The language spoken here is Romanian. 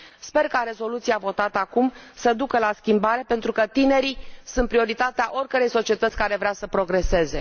Sper ca rezoluția votată acum să ducă la schimbare, pentru că tinerii sunt prioritatea oricărei societăți care vrea să progreseze.